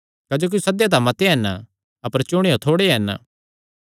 क्जोकि सद्देयो तां मत्ते हन अपर चुणेयो थोड़े हन